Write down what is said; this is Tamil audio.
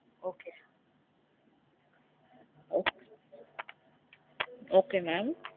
Okay okay mam